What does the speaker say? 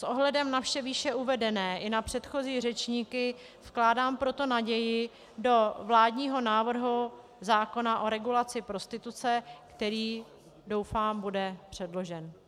S ohledem na vše výše uvedené i na předchozí řečníky vkládám proto naději do vládního návrhu zákona o regulaci prostituce, který, doufám, bude předložen.